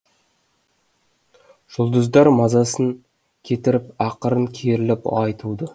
жұлдыздар мазасын кетіріп ақырын керіліп ай туды